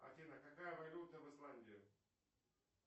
афина какая валюта в исландии